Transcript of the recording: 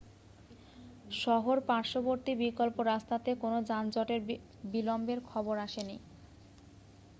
শহর-পার্শ্ববর্তী বিকল্প রাস্তাতে কোনো যানজটের বিলম্বের খবর আসেনি